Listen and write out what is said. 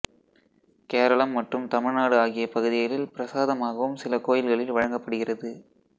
கேரளம் மற்றும் தமிழ்நாடு ஆகிய பகுதிகளில் பிரசாதமாகவும் சில கோயில்களில் வழங்கப்படுகிறது